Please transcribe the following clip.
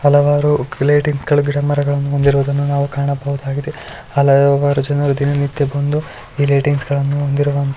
ಹಲವಾರು ಗಿಡಮರಗಳನ್ನು ಹೊಂದಿರುವುದನ್ನು ನಾವು ಕಾಣಬಹುದಾಗಿದೆ ಹಲವಾರು ಜನರು ದಿನ ನಿತ್ಯ ಬಂದು ಈ ಲೈಟಿಂಗ್ಸ್ಗಳನ್ನು ಹೊಂದಿರುವಂತಹ --